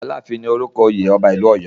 "Aláàfin" ni orúkọ oyè ọba ìlú Ọ̀yọ́.